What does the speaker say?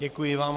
Děkuji vám.